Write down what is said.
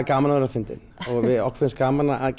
gaman að vera fyndinn okkur finnst gaman að